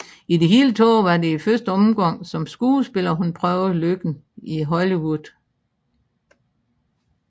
I det hele taget var det i første omgang som skuespiller hun prøvede lykken i Hollywood